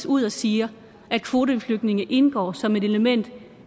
ud og siger at kvoteflygtninge indgår som et element